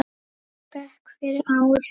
bekk fyrir ári.